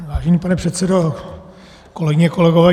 Vážený pane předsedo, kolegyně, kolegové.